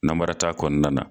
Namara t'a kɔnɔna na.